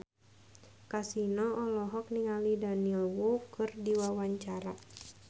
Kasino olohok ningali Daniel Wu keur diwawancara